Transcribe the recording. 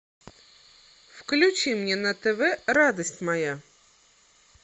включи мне на тв радость моя